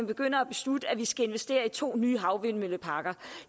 begynder at beslutte at vi skal investere i to nye havvindmølleparker